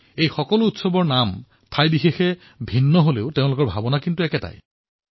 এই সকলো উৎসৱৰ নাম ভিন্ন হলেও সকলো লোকে একে ভাৱনাৰে এই উৎসৱসমূহ পালন কৰে